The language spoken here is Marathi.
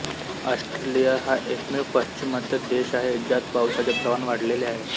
ऑस्ट्रेलिया हा एकमेव पाश्चिमात्य देश आहे ज्यात पावसाचे प्रमाण वाढलेले आहे